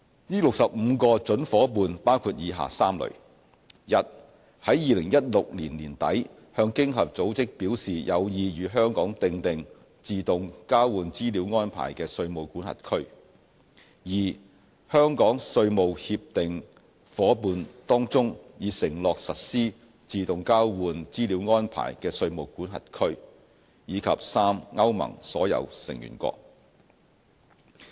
這65個準夥伴包括以下3類： a 在2016年年底向經合組織表示有意與香港訂定自動交換資料安排的稅務管轄區； b 香港稅務協定夥伴當中已承諾實施自動交換資料安排的稅務管轄區；及 c 歐盟所有成員國。